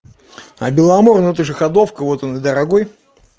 а беломор ну это же ходовка вот он и дорогой